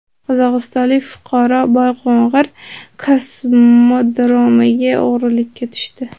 Qozog‘istonlik fuqaro Boyqo‘ng‘ir kosmodromiga o‘g‘irlikka tushdi.